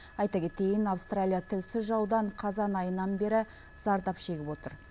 айта кетейін австралия тілсіз жаудан қазан айынан бері зардап шегіп отыр